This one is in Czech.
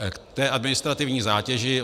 K té administrativní zátěži.